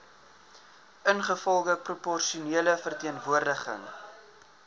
ingevolge proporsionele verteenwoordiging